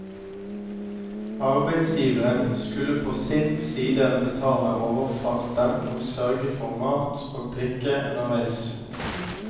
Arbeidsgiveren skulle på sin side betale overfarten og sørge for mat og drikke underveis.